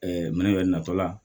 mɛnɛ natɔ la